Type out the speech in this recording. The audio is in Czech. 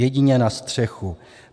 Jedině na střechu.